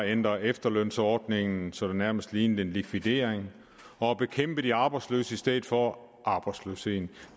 at ændre efterlønsordningen så det nærmest lignede en likvidering og bekæmpe de arbejdsløse i stedet for arbejdsløsheden